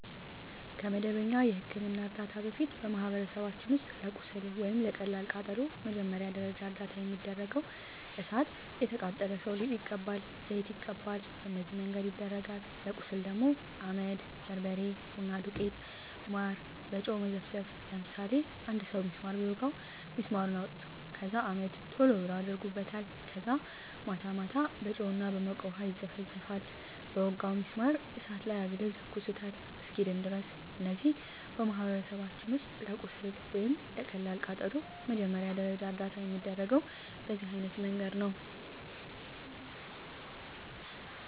ከመደበኛ የሕክምና ዕርዳታ በፊት፣ በማኅበረሰባችን ውስጥ ለቁስል ወይም ለቀላል ቃጠሎ መጀመሪያ ደረጃ እርዳታ የሚደረገው እሣት የቃጠለው ሠው ሊጥ ይቀባል፤ ዘይት ይቀባል፤ በነዚህ መንገድ ይደረጋል። ለቁስል ደግሞ አመድ፤ በርበሬ፤ ቡና ዱቄት፤ ማር፤ በጨው መዘፍዘፍ፤ ለምሳሌ አንድ ሠው ቢስማር ቢወጋው ቢስማሩን አውጥተው ከዛ አመድ ቶሎ ብለው አደርጉበታል ከዛ ማታ ማታ በጨው እና በሞቀ ውሀ ይዘፈዝፈዋል በወጋው ቢስማር እሳት ላይ አግለው ይተኩሱታል እስኪድን ድረስ። እነዚህ በማኅበረሰባችን ውስጥ ለቁስል ወይም ለቀላል ቃጠሎ መጀመሪያ ደረጃ እርዳታ የሚደረገው በዚህ አይነት መንገድ ነው። ለምሳሌ